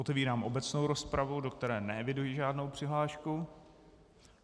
Otevírám obecnou rozpravu, do které neeviduji žádnou přihlášku.